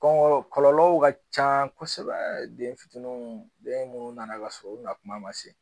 kɔlɔlɔw ka ca kosɛbɛ den fitininw den munnu nana ka sɔrɔ u na kuma ma se